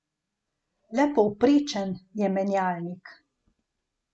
Le povprečen je menjalnik.